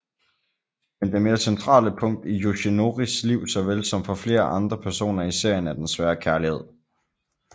Men det mere centrale punkt i Yoshinoris liv såvel som for flere andre personer i serien er den svære kærlighed